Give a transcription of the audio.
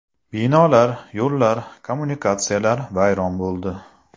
Binolar, yo‘llar, kommunikatsiyalar vayron bo‘ldi.